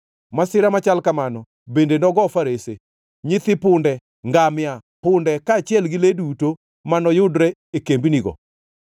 Masira machal kamano bende nogo farese, nyithi punde, ngamia, punde, kaachiel gi le duto ma noyudre e kembnigo.